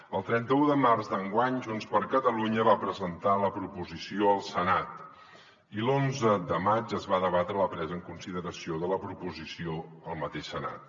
el trenta un de març d’enguany junts per catalunya va presentar la proposició al senat i l’onze de maig es va debatre la presa en consideració de la proposició al mateix senat